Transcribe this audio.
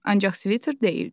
Ancaq sviter deyildi.